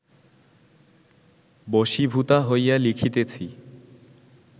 বশীভূতা হইয়া লিখিতেছি